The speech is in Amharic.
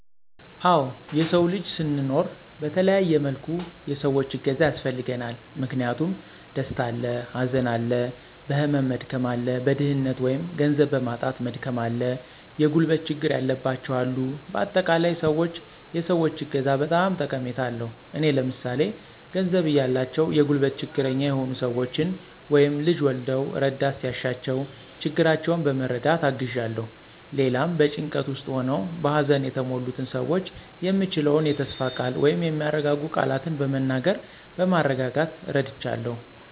አወ የሰዉ ልጅ ስንኖር በተለያየ መልኩ የሰዎች እገዛ ያስፈልገናል። ምክንያቱም፦ ደስታ አለ፣ ሀዘን አለ፣ በህመም መድከም አለ፣ በድህነት(ገንዘብ) በማጣት መድከም አለ፣ የጉልበት ችግር ያለባቸዉ አሉ በአጠቃላይ, ሰዎች የሰዎች እገዛ በጣም ጠቀሜታ አለዉ። እኔ ለምሳሌ፦ ገንዘብ እያላቸዉ የጉልበት ችግረኛ የሆኑ ሰወችን (ልጅ ወልደዉ እረዳት ሲያሻቸዉ ችግራቸዉን በመረዳት አግዣለሁ)።ሌላም, በጭንቀት ዉስጥ ሆነዉ በሀዘን የተሞሉትን ሰዎች የምችለዉን የተስፋ ቃል(የሚያረጋጉ ቃላትን በመናገር በማረጋጋት ረድቻለሁ)።